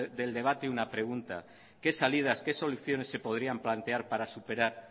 del debate una pregunta qué salidas qué soluciones se podrían plantear para superar